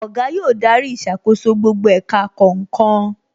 Oga yóò darí ìṣàkóso gbogbo ẹ̀ka kọ̀ọ̀kan